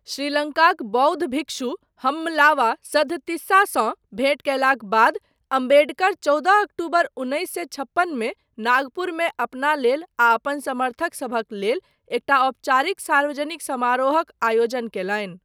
श्रीलङ्काक बौद्ध भिक्षु हम्मलावा सद्धतिस्सासँ भेंट कयलाक बाद अम्बेडकर चौदह अक्टूबर उन्नैस सए छप्पनमे नागपुरमे अपना लेल आ अपन समर्थकसभक लेल एकटा औपचारिक सार्वजनिक समारोहक आयोजन कयलनि।